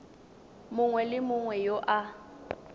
mongwe le mongwe yo a